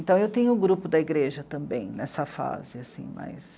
Então eu tinha o grupo da igreja também nessa fase, assim, mas...